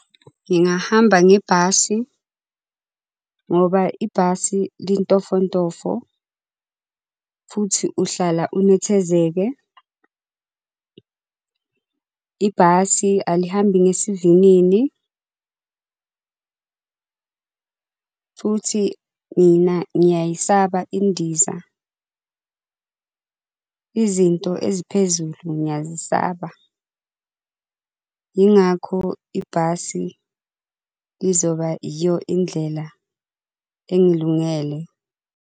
Ngingahamba ngebhasi, ngoba ibhasi lintofontofo futhi uhlala unethezeke. Ibhasi alihambi ngesivinini futhi mina ngiyayisaba indiza izinto eziphezulu ngiyayisaba, yingakho ibhasi lizoba iyo indlela engilungele.